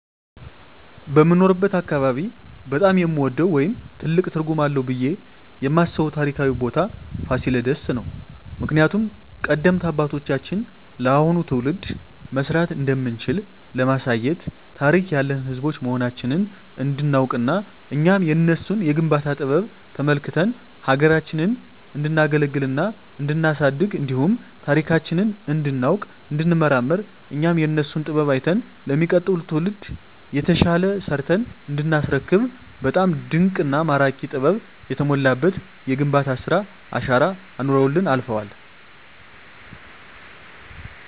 በምኖርበት አካባቢ በጣም የምወደው ወይም ትልቅ ትርጉም አለዉ ብየ የማስበው ታሪካዊ ቦታ ፋሲለደስ ነው። ምክንያቱም ቀደምት አባቶቻችን ለአሁኑ ትውልድ መስራት እንደምንችል ለማሳየት ታሪክ ያለን ህዝቦች መሆናችንን እንዲናውቅና እኛም የነሱን የግንባታ ጥበብ ተመልክተን ሀገራችንን እንዲናገለግልና እንዲናሳድግ እንዲሁም ታሪካችንን እንዲናውቅ እንዲንመራመር እኛም የነሱን ጥበብ አይተን ለሚቀጥለው ትውልድ የተሻለ ሰርተን እንዲናስረክብ በጣም ድንቅና ማራኪ ጥበብ የተሞላበት የግንባታ ስራ አሻራ አኑረውልን አልፈዋል።